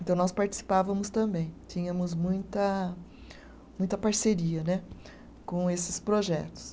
Então, nós participávamos também, tínhamos muita muita parceria né, com esses projetos.